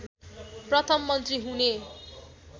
प्रथम मन्त्री हुने